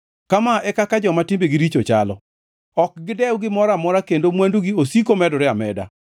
Kama e kaka joma timbegi richo chalo, ok gidew gimoro amora kendo mwandugi osiko medore ameda.